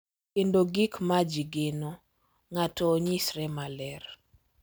Kendo gik ma ji geno ng’ato onyisre maler.